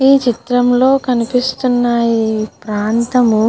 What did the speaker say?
ఈ చిత్రం లో కనిపిస్తున్న ఈ ప్రాంతము --